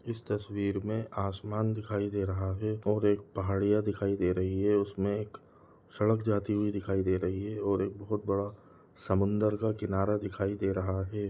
इस तस्वीर मे आसमान दिखाई दे रहा है और एक पहाड़ियां दिखाई दे रही है उसमे एक सड़क जाती हुई दिखाई दे रही है और एक बहोत बड़ा समुन्द्र का किनारा दिखाई दे रहा है।